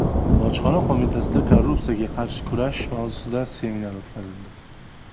Bojxona qo‘mitasida korrupsiyaga qarshi kurash mavzusida seminar o‘tkazildi.